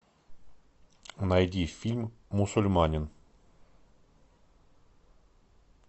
найди фильм мусульманин